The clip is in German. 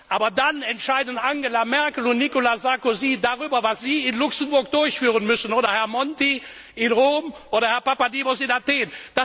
Aber dann entscheiden Angela Merkel und Nicolas Sarkozy darüber, was Sie in Luxemburg durchführen müssen, oder Herr Monti in Rom, oder Herr Papademos in Athen.